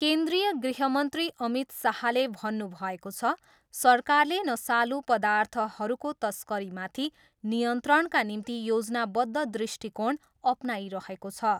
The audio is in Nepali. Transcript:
केन्द्रिय गृहमन्त्री अमित शाहले भन्नुभएको छ, सरकारले नसालु पदार्थहरूको तस्करीमाथि नियन्त्रणका निम्ति योजनाबद्ध दृष्टिकोण अपनाइरहेको छ।